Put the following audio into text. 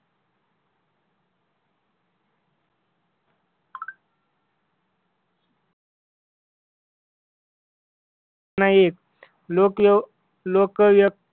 नाही लोक व्यव लोक व्यव